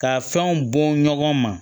Ka fɛnw bɔn ɲɔgɔn ma